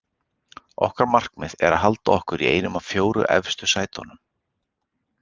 Okkar markmið er að halda okkur í einu af fjórum efstu sætunum.